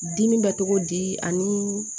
Dimi bɛ togo di ani